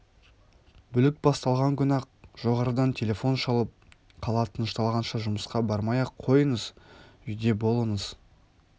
бүлік басталған күні-ақ жоғарыдан телефон шалып қала тынышталғанша жұмысқа бармай-ақ қойыңыз үйде болыңыз